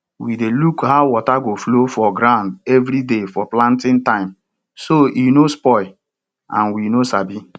we dey look how water go flow for ground every day for planting time so e no spoil and we no sabi